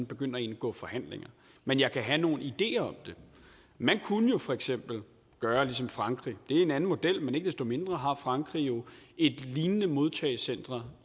begynde at indgå forhandlinger men jeg kan have nogle ideer om det man kunne jo for eksempel gøre ligesom frankrig det er en anden model men ikke desto mindre har frankrig jo et lignende modtagecenter